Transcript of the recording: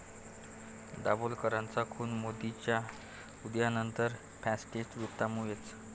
दाभोलकरांचा खून मोदींच्या उदयानंतर फॅसिस्ट वृत्तीमुळेच'